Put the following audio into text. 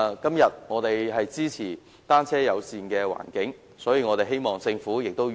今天，我們支持單車友善的環境，所以希望政府與時並進。